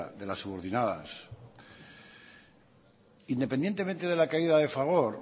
de las subordinadas independientemente de la caída de fagor